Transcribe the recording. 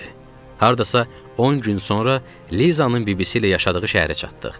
Hardasa 10 gün sonra Lizanın bibisi ilə yaşadığı şəhərə çatdıq.